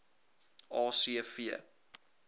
a c v